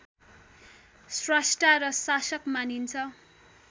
स्रष्टा र शासक मानिन्छ